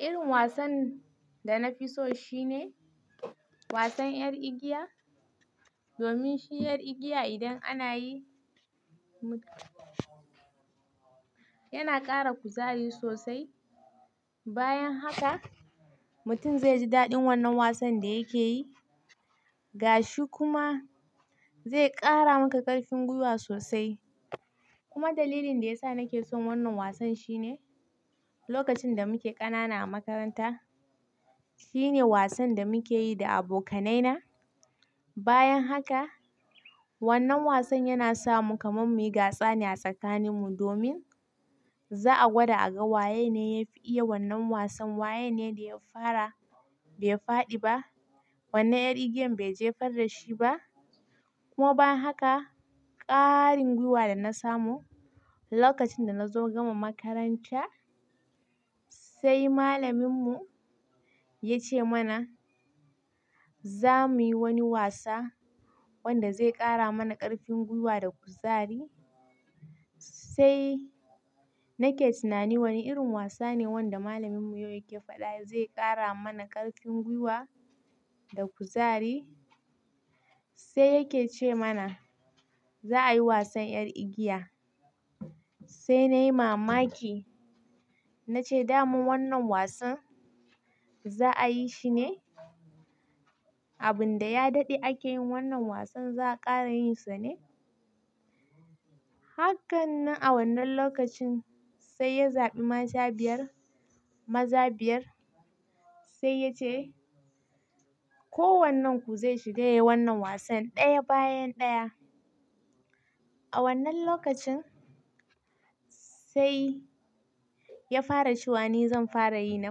Irin wasan da na fi so shine wasan 'yar igiya. Domin shi 'yar igiya idan ana yi, yana ƙara kuzari sosai. Bayan haka, mutum zai ji daɗin wannan wasan da yake yi. Ga shi kuma zai ƙara maka ƙarfin gwiwa sosai. Kuma dalilin da ya sa nake son wannan wasan shine lokacin da muke ƙanana a makaranta, shi ne wasan da muke yi da abokanaina. Bayan haka, wannan wasan yana sa mu kamar muyi gasa ne a tsakaninmu domin za'a gwada a ga waye ne ya fi iya wannan wasan, waye ne da ya fara bai faɗi ba, wannan 'yar igiyan bai jefar da shi ba. Kuma ban haka ƙaarin gwiwa da na samu lokacin da na zo gama makaranta, sai malaminmu ya ce mana za mu yi wani wasa wanda zai ƙara mana ƙarfin gwiwa da kuzari. Sai nake tunani wane irin wasa ne wanda malaminmu yake faɗa zai ƙara mana ƙarfin gwiwa da kuzari. Sai yake ce mana za a yi wasan 'yar igiya. Sai na yi mamaki. Na ce, "Da man wannan wasan za a yi shi ne? Abin da ya daɗe ake yin wannan wasan za'a ƙara yin sa ne?" Hakkan nan a wannan lokacin sai ya zaɓi mata biyar, maza biyar. Sai ya ce, "Ko wannan ku zai shiga yi wannan wasan ɗaya bayan ɗaya." A wannan lokacin sai ya fara ce wa ni zan fara yi na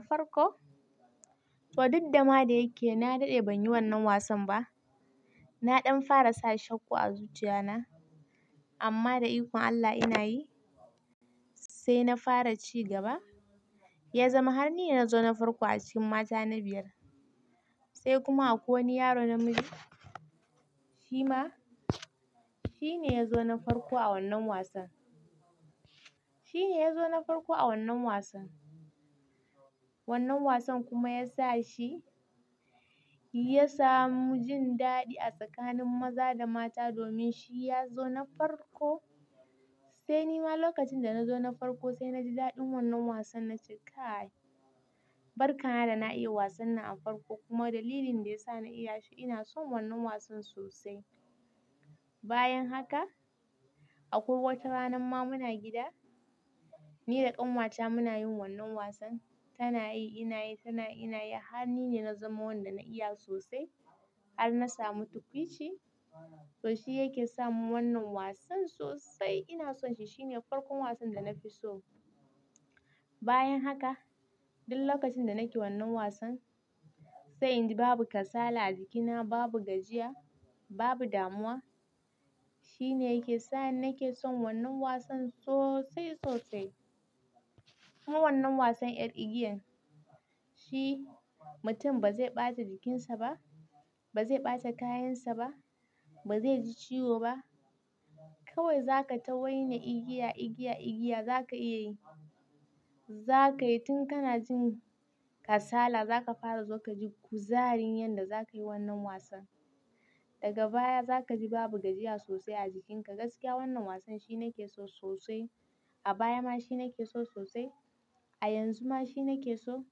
farko. To, duk dama da yake na daɗe ban yi wannan wasan ba. Na ɗan fara sa shakku a zuciyana. Amma da ikon Allah ina yi. Sai na fara ci gaba. Ya zama har ni na zo na farko a cikin mata na biyar. Sai kuma akwai wani yaro namiji. Shi ma shi ne ya zo na farko a wannan wasan. Shi ne ya zo na farko a wannan wasan. Wannan wasan kuma ya sa shi ya samu jin daɗi a tsakanin maza da mata domin shi ya zo na farko. Sai ni ma lokacin da na zo na farko sai na ji daɗin wannan wasan nace kai. Barkana da na iya wasan nan a farko kuma dalilin da ya sa na iya shi ina son wannan wasan sosai. Bayan haka, akwai wata rana ma muna gida. Ni da ƙanwata muna yin wannan wasan. Tana yi ina yi, tanayi ina yi. Har ni ne na zama wanda na iya sosai har na samu tukwici. To shi yake sa mun wannan wasan sosai ina son shi, Shi ne farkon wasan da na fi so. Bayan haka, duk lokacin da nake wannan wasan sai inji babu kasala a jikina, babu gajiya, babu damuwa. Shi ne yake sa ni nake son wannan wasan sosai sosai. Kuma wannan wasan 'yar igiyan shi mutum ba zai ɓata jikinsa ba, ba zai ɓata kayansa ba, ba zai ji ciwo ba. Kawai za ka tawaina igiya, igiya, igiya za ka iya yi. Za ka yi tun kana jin kasala za ka fara zo ka ji kuzarin yadda za ka yi wannan wasan. Daga baya za ka ji babu gajiya sosai a jikinka. Gaskiya wannan wasan shi na ke so sosai. A baya ma shi ne ke so sosai. A yanzu ma shi ne ke so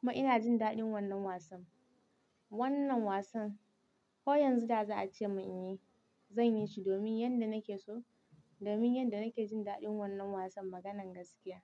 kuma ina jin daɗin wannan wasan. Wannan wasan ko yanzu da za a ce mun in yi, zan yi shi domin yanda nake so, domin yadda nake jin daɗin wannan wasan maganan gaskiya.